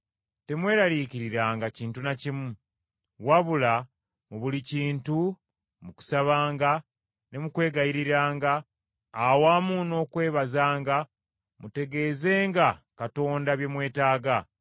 Temweraliikiriranga kintu na kimu, wabula mu buli kintu mu kusabanga ne mu kwegayiriranga awamu n’okwebazanga, mutegeezenga Katonda bye mwetaaga.